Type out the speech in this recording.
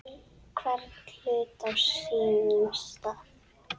Hvern hlut á sínum stað.